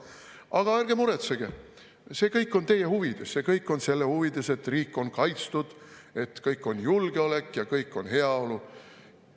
Aga ärge muretsege, see kõik on teie huvides, see kõik on selle huvides, et riik on kaitstud, et kõik on julgeolek ja kõik on heaolu.